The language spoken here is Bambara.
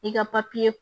I ka